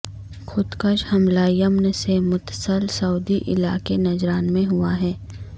خودکش حملہ یمن سے متصل سعودی علاقے نجران میں ہوا ہے